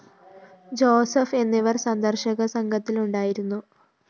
Joseph എന്നിവര്‍ സന്ദര്‍ശക സംഘത്തിലുണ്ടായിരുന്നു